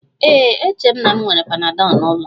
Ee, eche m na m nwere panadol n'ụlọ